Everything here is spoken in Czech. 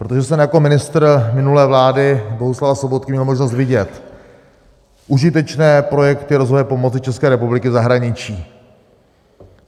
Protože jsem jako ministr minulé vlády Bohuslava Sobotky měl možnost vidět užitečné projekty rozvojové pomoci České republiky v zahraničí.